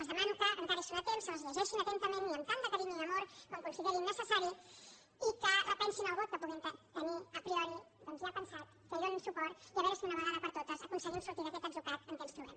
els demano que encara hi són a temps se les llegeixin atentament i amb tant de carinyo i amor com considerin necessari i que repensin el vot que puguin tenir a prioria veure si d’una vegada per totes aconseguim sortir d’aquest atzucac en què ens trobem